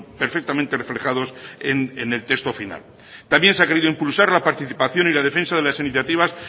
perfectamente reflejados en el texto final también se ha querido impulsar la participación y la defensa de las iniciativas